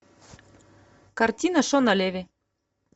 картина шона леви